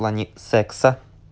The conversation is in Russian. в плане секса